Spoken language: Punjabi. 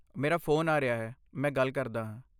ਮੇਰਾ ਫ਼ੋਨ ਆ ਰਿਹਾ ਹੈ, ਮੈਂ ਗੱਲ ਕਰਦਾ ਹਾਂ।